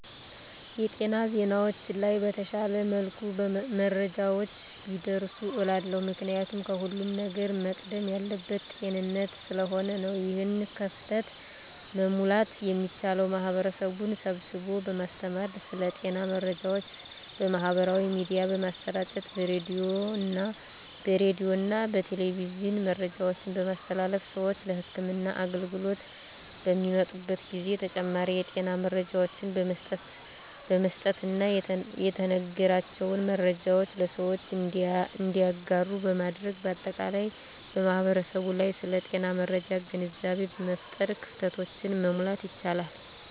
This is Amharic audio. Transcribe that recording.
የጤና ዜናዎች ላይ በተሻለ መልኩ መረጃዎች ቢደርሱ እላለሁ። ምክንያቱም ከሁለም ነገር መቅደም ያለበት ጤንነት ስለሆነ ነው። ይህን ክፍተት መሙላት የሚቻለው ማህበረሰብን ስብስቦ በማስተማር ስለ ጤና መረጃዎች በማህበራዊ ሚዲያ በማሰራጨት በሬዲዮና በቴሌቪዥን መረጃዎችን በማስተላለፍ ስዎች ለህክምና አገልግሎት በሚመጡበት ጊዜ ተጨማሪ የጤና መረጃዎችን በመስጠትና የተነገራቸውን መረጃዎች ለሰዎች እንዲያጋሩ በማድረግ በአጠቃላይ በማህበረሰቡ ላይ ስለ ጤና መረጃ ግንዛቤ በመፍጠር ክፍተቶችን መሙላት ይቻላል።